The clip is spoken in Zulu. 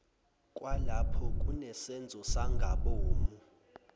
kwalapho kunesenzo sangamabomu